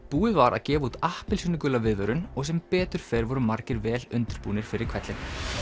búið var að gefa út appelsínugula viðvörun og sem betur fer voru margir vel undirbúnir fyrir hvellinn